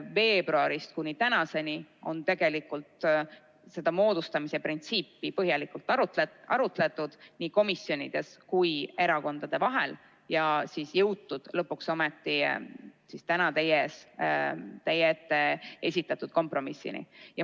Veebruarist kuni tänaseni on tegelikult seda moodustamise printsiipi põhjalikult arutatud nii komisjonides kui ka erakondade vahel ja jõutud lõpuks ometi selle kompromissini, mis on täna teie ees.